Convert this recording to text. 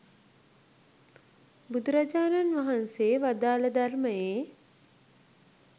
බුදුරජාණන් වහන්සේ වදාළ ධර්මයේ